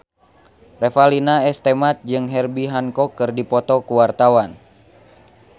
Revalina S. Temat jeung Herbie Hancock keur dipoto ku wartawan